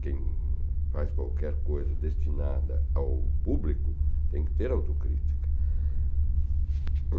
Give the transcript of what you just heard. Quem faz qualquer coisa destinada ao público tem que ter autocrítica.